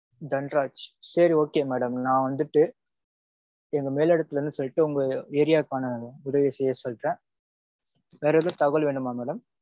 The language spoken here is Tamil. தன்ராஜ். சரி okay madam. நா வந்துட்டு எங்க மேல் இடத்துல இருந்து சொல்லிட்டு உங்க area க்கான உதவிய செய்ய சொல்ட்டேன். வேற எதும் தகவல் வேணுமா mam.